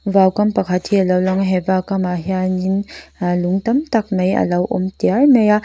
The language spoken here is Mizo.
vaukam pakhat hi a lo lang a he vaukamah hianin ahh lung tam tak mai a lo awm tiar mai a.